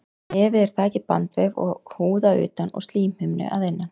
Nefið er þakið bandvef og húð að utan og slímhimnu að innan.